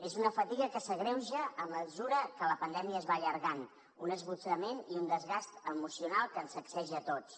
és una fatiga que s’agreuja a mesura que la pandèmia es va allargant un esgotament i un desgast emocional que ens sacseja a tots